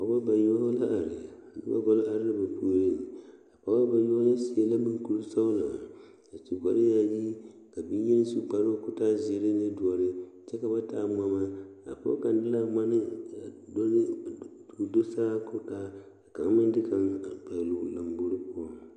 Pɔɔba yoŋ la are noba are la ba puoriŋ a pɔɔba seɛ la maŋkurisɔɔlɔ su kparyaayi ka bie meŋ su kparoo ka o taa zeɛ ne doɔre kyɛ ka ba taa ŋmama a pɔɡe kaŋa zeŋ la a ŋmane ka o do saa kyɛ ka o taa ka kaŋ meŋ de kaŋ naŋ pɛɡele o lambori poɔŋ.